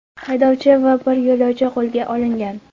Haydovchi va bir yo‘lovchi qo‘lga olingan.